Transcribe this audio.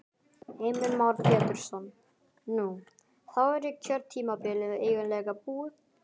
Heimir Már Pétursson: Nú, þá er kjörtímabilið eiginlega búið?